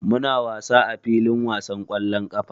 Muna wasa a filin wasan ƙwallon ƙafa.